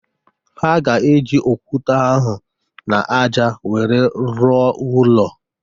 Ha ga-eji okwute ahụ n'aja wéré ruọ ụlọ